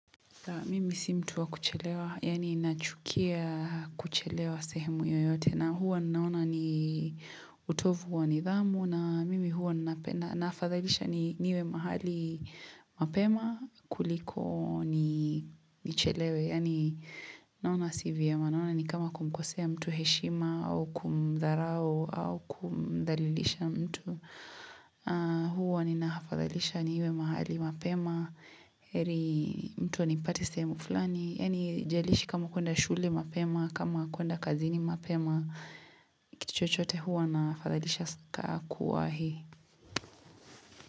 Mimi si mtu wa kuchelewa, yani nachukia kuchelewa sehemu yoyote. Na huwa naona ni utovu wa nidhamu, na mimi huwa nafadhalisha niwe mahali mapema kuliko nichelewe. Yani naona si vyema, naona ni kama kumkosea mtu heshima, au kumdharau, au kumdhalilisha mtu. Huwa nina afadhalisha niwe mahali mapema heri mtu anipate sehemu fulani yani haijalishi kama kuenda shule mapema kama kuenda kazini mapema kitu chochote huwa na afadhalisha saka kuwahi.